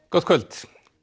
gott kvöld